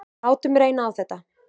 Látum reyna á þetta.